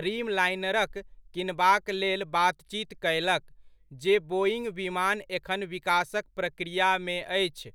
ड्रीमलाइनरक किनबाक लेल बातचीत कयलक, जे बोइङ्ग विमान एखन विकासक प्रक्रियामे अछि।